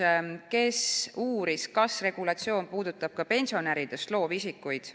Jaak Valge uuris, kas regulatsioon puudutab ka pensionäridest loovisikuid.